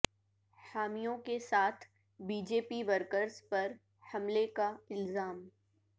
حامیوں کے ساتھ بی جے پی ورکرس پر حملہ کا الزام